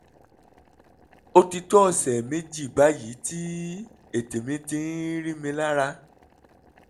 ó ti tó ọ̀sẹ̀ méjì báyìí tí ètè mi ti ń rí mi lára